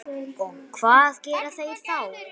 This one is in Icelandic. Og hvað gera þeir þá?